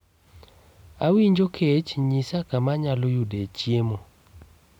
Awinjo kech. Nyisa kama anyalo yudee chiemo.